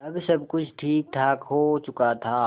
अब सब कुछ ठीकठाक हो चुका था